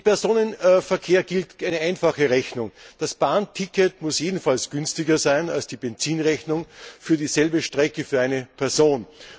Im Personenverkehr gilt eine einfache Rechnung Das Bahnticket muss jedenfalls günstiger sein als die Benzinrechnung für dieselbe Strecke für eine Person.